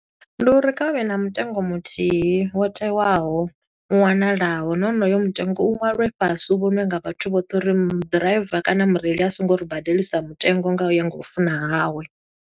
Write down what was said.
Ndi uri, kha hu vhe na mutengo muthih, wo tewaho, u wanalaho, nahone hoyo mutengo u ṅwalwe fhasi u vhoṅwe nga vhathu vhoṱhe, u ri mu ḓiraiva kana mureili a songo ri badelisa mutengo nga u ya nga u funa hawe.